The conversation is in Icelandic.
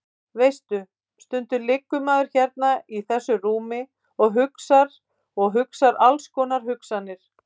Veistu. stundum liggur maður hérna í þessu rúmi og hugsar og hugsar alls konar hugsanir.